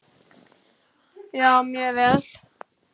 Já, mjög vel.